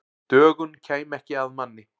Dögun kæmi ekki að manni.